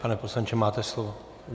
Pane poslanče, máte slovo.